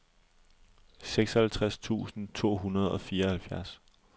seksoghalvtreds tusind to hundrede og fireoghalvfjerds